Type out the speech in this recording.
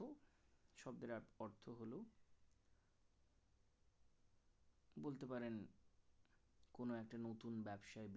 বলতে পারেন কোন একটা নতুন ব্যবসায়